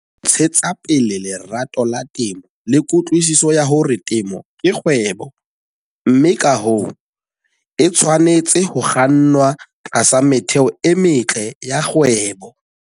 Ntshetsa pele lerato la temo le kutlwisiso ya hore temo ke kgwebo, mme ka hoo, e tshwanetse ho kgannwa tlasa metheo e metle ya kgwebo.